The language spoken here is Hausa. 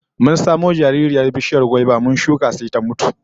Mun samo jaririyar bishiyar gwaiba mu shuka sai ta mutu